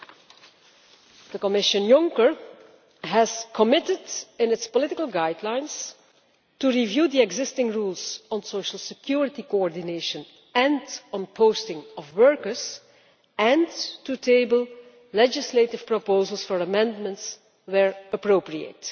The Juncker Commission has committed in its political guidelines to reviewing the existing rules on social security coordination and the posting of workers, and to table legislative proposals for amendments where appropriate.